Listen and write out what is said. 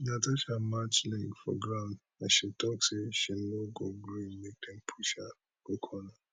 natasha match leg for ground as she tok say she no go gree make dem push her go corner